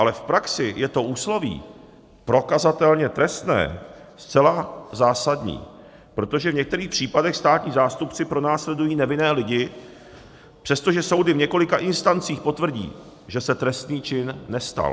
Ale v praxi je to úsloví prokazatelně trestné zcela zásadní, protože v některých případech státní zástupci pronásledují nevinné lidi, přestože soudy v několika instancích potvrdí, že se trestný čin nestal.